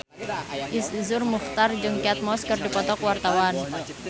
Iszur Muchtar jeung Kate Moss keur dipoto ku wartawan